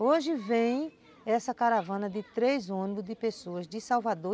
Hoje vem essa caravana de três ônibus de pessoas de Salvador.